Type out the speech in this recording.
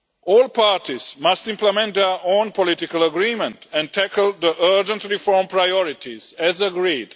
All parties must implement their own political agreement and tackle the urgent reform priorities as agreed.